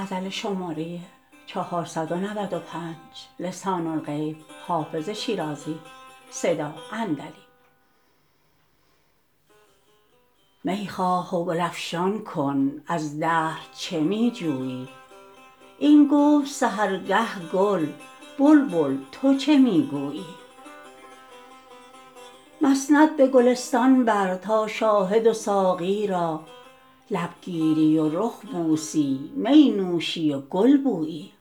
می خواه و گل افشان کن از دهر چه می جویی این گفت سحرگه گل بلبل تو چه می گویی مسند به گلستان بر تا شاهد و ساقی را لب گیری و رخ بوسی می نوشی و گل بویی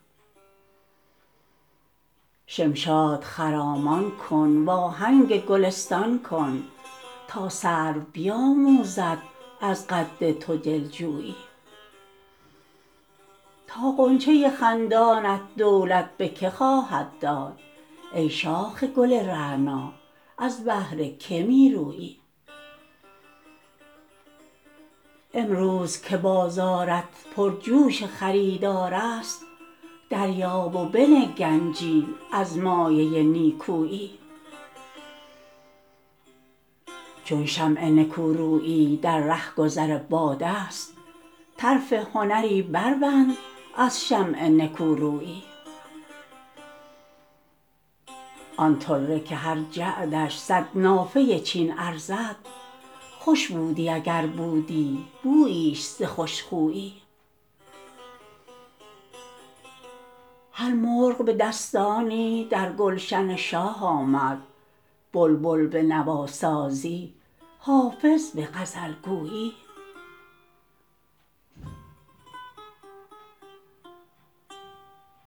شمشاد خرامان کن وآهنگ گلستان کن تا سرو بیآموزد از قد تو دل جویی تا غنچه خندانت دولت به که خواهد داد ای شاخ گل رعنا از بهر که می رویی امروز که بازارت پرجوش خریدار است دریاب و بنه گنجی از مایه نیکویی چون شمع نکورویی در رهگذر باد است طرف هنری بربند از شمع نکورویی آن طره که هر جعدش صد نافه چین ارزد خوش بودی اگر بودی بوییش ز خوش خویی هر مرغ به دستانی در گلشن شاه آمد بلبل به نواسازی حافظ به غزل گویی